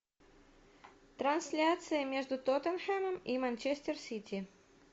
трансляция между тоттенхэмом и манчестер сити